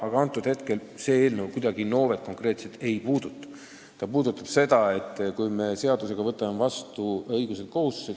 Aga see eelnõu ei puuduta konkreetselt Innovet, vaid seda, kas me võtame seadusega vastu teatud õigused ja kohustused.